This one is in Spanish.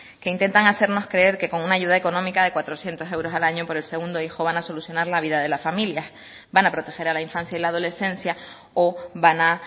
que intentan hacernos creer que con una ayuda económica de cuatrocientos euros al año por el segundo hijo van a solucionar la vida de la familia van a proteger a la infancia y la adolescencia o van a